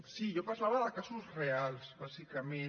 sí jo parlava de casos reals bàsicament